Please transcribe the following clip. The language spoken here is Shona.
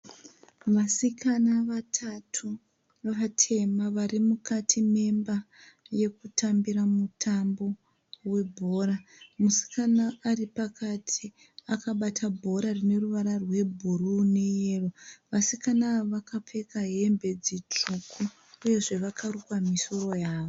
Vasikana vatatu vatema vari mukati memba yekutambira mutambo webhora musikana ari pakati akabata bhora rine ruvara rwebhuruu neyero vasikana ava vakapfeka hembe dzitsvuku uyezve vakarukwa misoro yavo.